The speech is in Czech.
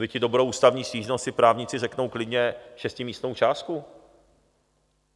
Byť i dobrou ústavní stížnost si právníci řeknou klidně šestimístnou částku.